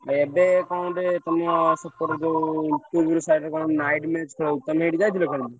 ଏବେ କଣ ଗୋଟେ ତମ ସେପଟେ ଯୋଉ ତିହୁଡି side ରେ କଣ night match ଖେଳ ହଉଛି, ତମେ ସେଠି ଯାଇଥିଲ ଖେଳିତେ?